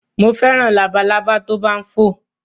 Mo fẹ́ràn labalábá tó bá ń fò.